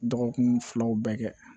Dɔgɔkun filaw bɛɛ kɛ